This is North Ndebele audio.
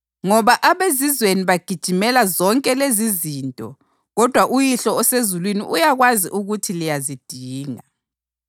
Ngoba abezizweni bagijimela zonke lezizinto kodwa uYihlo osezulwini uyakwazi ukuthi liyazidinga.